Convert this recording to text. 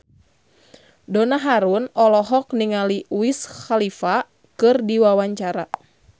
Donna Harun olohok ningali Wiz Khalifa keur diwawancara